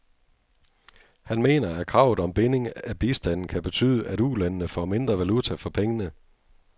Han mener, at kravet om binding af bistanden kan betyde, at ulandene får mindre valuta for pengene.